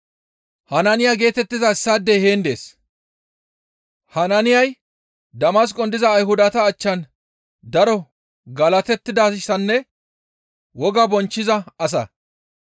«Hanaaniya geetettiza issaadey heen dees; Hanaaniyay Damasqon diza Ayhudata achchan daro galatettidayssanne wogaa bonchchiza asa.